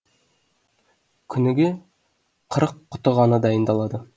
күніге қырық құты ғана дайындалады